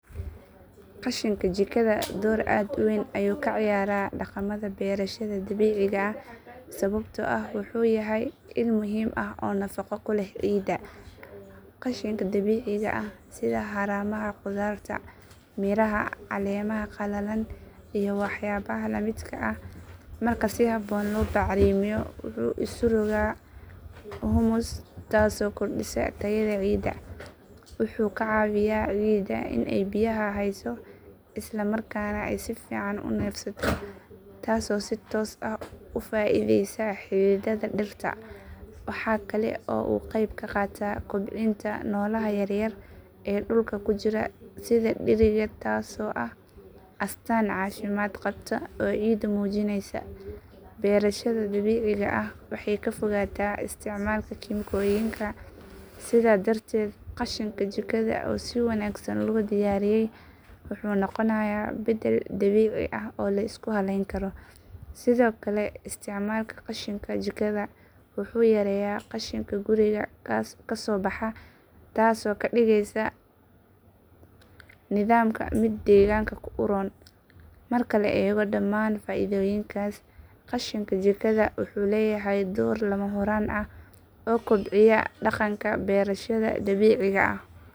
Qashinka jikada door aad u weyn ayuu ka ciyaaraa dhaqamada beerashada dabiiciga ah sababtoo ah wuxuu yahay il muhiim ah oo nafaqo u leh ciidda. Qashinka dabiiciga ah sida haramaha khudaarta, miraha, caleemaha qalalan iyo waxyaabaha la midka ah marka si habboon loo bacrimiyo wuxuu isu rogaa humus taasoo kordhisa tayada ciidda. Wuxuu ka caawiyaa ciidda in ay biyaha hayso isla markaana ay si fiican u neefsato taasoo si toos ah u faa’iideysa xididdada dhirta. Waxaa kale oo uu ka qayb qaataa kobcinta noolaha yaryar ee dhulka ku jira sida dixiriga taasoo ah astaan caafimaad qabta oo ciidda muujinaysa. Beerashada dabiiciga ah waxay ka fogaataa isticmaalka kiimikooyinka sidaa darteed qashinka jikada oo si wanaagsan loo diyaariyey wuxuu noqonayaa beddel dabiici ah oo la isku halayn karo. Sidoo kale isticmaalka qashinka jikada wuxuu yareeyaa qashinka guriga kasoo baxa taasoo ka dhigaysa nidaamka mid deegaanka u roon. Marka la eego dhamaan faa’iidooyinkaas, qashinka jikada wuxuu leeyahay door lama huraan ah oo kobcinaya dhaqanka beerashada dabiiciga ah.